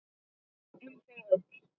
Um þau öll.